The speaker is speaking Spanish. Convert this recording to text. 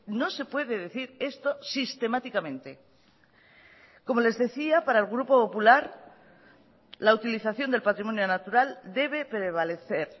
no se puede decir esto sistemáticamente como les decía para el grupo popular la utilización del patrimonio natural debe prevalecer